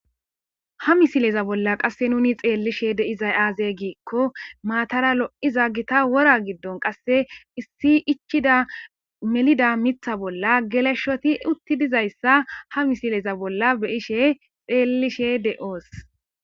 Ha misileza bolla qase nuni xelishe de'zay aze gikon matara lo'iza Gita wora gidon qase issi ichida melida Mitha bolla geloshoti uti dizaysa ha misileza bolla be'ashe xelishe de'os.